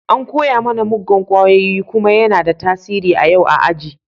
An koya mana muggan kwayoyi kuma yana da tasiri a yau a aji.